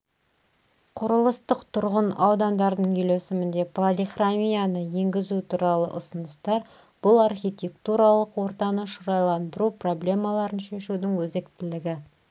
құрылыстық тұрғын аудандардың үйлесімінде полихромияны енгізу туралы ұсыныстар бұл архитектуралық ортаны шырайландыру проблемаларын шешудің өзектілігі